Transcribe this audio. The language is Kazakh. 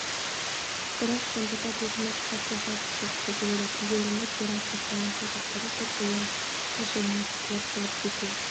бірақ сонда да бұлқынып қарсы шапшығысы келеді тегеуріні керім қоспанның саусақтары жып-жылы қылшығынан сытылып шығып кете